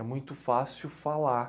É muito fácil falar.